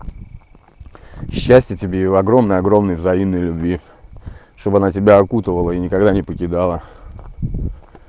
счастья тебе его огромный огромный взаимной любви чтобы она тебя окутывала и никогда не покидала